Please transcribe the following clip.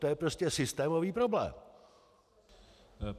To je prostě systémový problém.